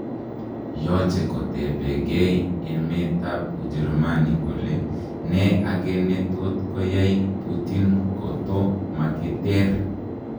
Yoche kotebegen emetab ujerumani kole ne age netot koyay putin koto mogiter.